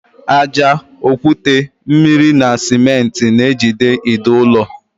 Ájá, okwute, mmiri na simenti na ejide ide ụlọ.